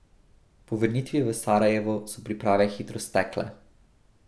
Po vrnitvi v Sarajevo so priprave hitro stekle.